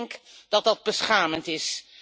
Ik denk dat dat beschamend is.